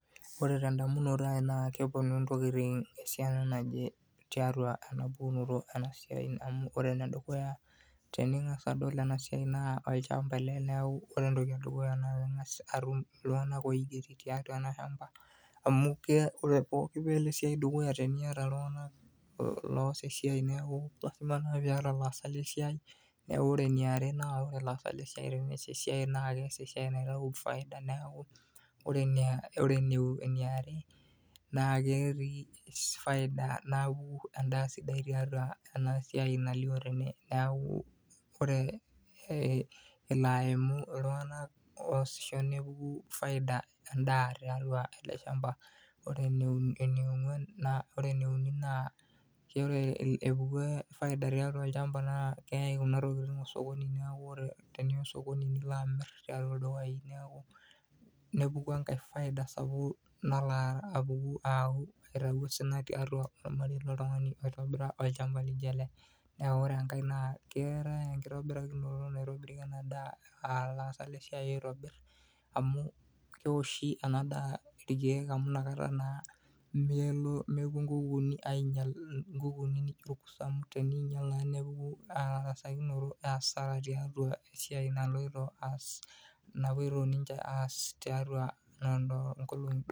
Oore ten'damunoto ai naa keponu intokiti esiana naje tiatua eena pukunoto eena siai amuu oore enedukuya, tening'asa adol eena siai naa olchamba ele niaku oore entoki edukuya keng'asi aatum iltung'anak oigeri tiatua eele shamba amuu pooki peyie elo esiai dukuya teniata iltung'anak loas esiai niaku lazima naa peyie iata ilaasak lesiai, naa oore eniare oore ilasak lesiai tenias esiai naa kias esiai naitau faida niaku oore eneiare naa ketii faida en'daa sidai naoku tiatua eena siai nalio teene niaku oore elo aimu iltung'anak oasisho nepuku faida] en'daa tiatua ele shamba, Oore eneiuni naa oore epuku faida tiatua olchamba naa keyae kuuna tokitin osokoni niaku ore teniya osokoni nilo amir tiatua ildukai nepuku enkae faida sapuk nalo aitau osina tiatua ormarei loltung'ani oitobira olchamba laijo ele. Oore enkae naa keetae enkitobirakinoto naitoniri ena daa aah ilaasak lesiai oitobir, amuu keoshi eena daa irkeek amuu nakata naa mepuo inkukuuni ainyial inkukuuni naijo orkurto amuu teneinyial naa nepuku hasara tiatua esiai napoito ninche aas tiatua inkolong'i doropu.